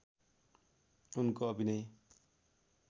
उनको अभिनय